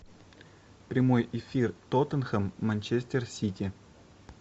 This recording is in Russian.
прямой эфир тоттенхэм манчестер сити